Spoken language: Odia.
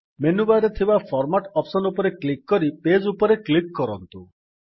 ମେନୁ ବାର୍ ରେ ଥିବା ଫର୍ମାଟ୍ ଅପ୍ସନ୍ ରେ କ୍ଲିକ୍ କରି ପେଜ୍ ଉପରେ କ୍ଲିକ୍ କରନ୍ତୁ